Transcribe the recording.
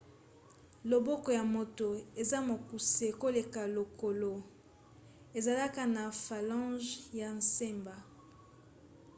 loboko ya moto eza mokuse koleka lokolo ezalaka na phalanges ya semba